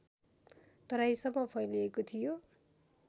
तराईसम्म फैलिएको थियो